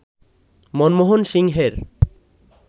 মনমোহন সিংয়ের